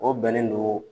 O bɛnnen don